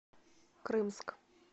крымск